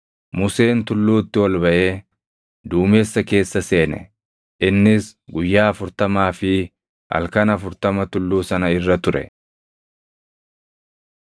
Museen tulluutti ol baʼee duumessa keessa seene. Innis guyyaa afurtamaa fi halkan afurtama tulluu sana irra ture.